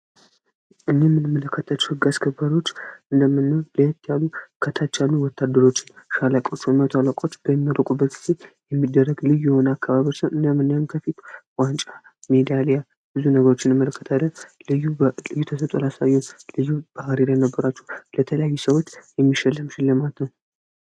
እምንመለከታቸው ሕግ አስከበሪዎች እንምኖለት ያሉ ከታቻሉ ወታድሮችን ሻለቃው ሰሚዎት አላቆች በሚለቁበት ጊዜ የሚደረግ ልዩ የሆነ አካባብርስን እንደምንያን ከፊት ዋንጫ ሜዲያልያ ብዙ ነገሮችን የመለከትደ ልዩ ተሰጦ ልዩ ባህሪ ለነበራችው ለተለያዩ ሰዎት የሚሸለም ሽለማት ነው።